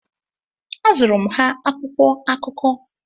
Azụụrụ m ha akwụkwọ akụkọ.